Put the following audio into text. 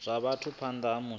zwa vhathu phanḓa ha musi